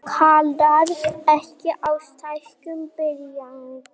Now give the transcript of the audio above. Kallar ekki á stækkun bygginga